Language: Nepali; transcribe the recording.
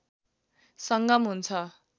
संगम हुन्छ